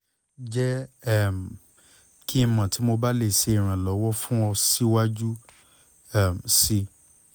jẹ um ki n mọ ti mo ba le ṣe iranlọwọ fun ọ siwaju um sii